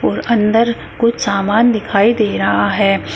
और अंदर कुछ सामान दिखाई दे रहा है।